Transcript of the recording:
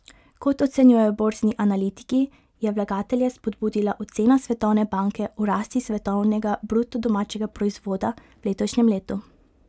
Kot ocenjujejo borzni analitiki, je vlagatelje spodbudila ocena Svetovne banke o rasti svetovnega bruto domačega proizvoda v letošnjem letu.